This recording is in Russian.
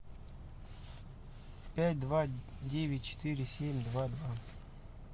пять два девять четыре семь два два